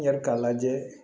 N yɛrɛ k'a lajɛ